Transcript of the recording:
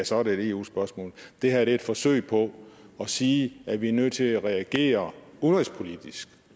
så er det et eu spørgsmål det her er et forsøg på at sige at vi er nødt til at reagere udenrigspolitisk